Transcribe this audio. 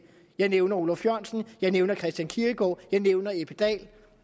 jeg nævner olaf jørgensen jeg nævner christian kierkegaard jeg nævner ebbe dal